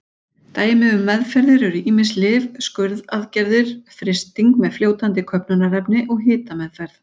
Dæmi um meðferðir eru ýmis lyf, skurðaðgerðir, frysting með fljótandi köfnunarefni og hitameðferð.